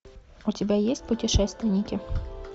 у тебя есть путешественники